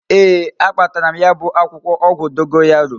Ee, a kpatara m ya bu akwukwo ogwu dogoyaro